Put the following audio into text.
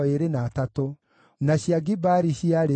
na andũ a Magibishi maarĩ 156,